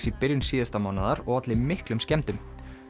í byrjun síðasta mánaðar og olli miklum skemmdum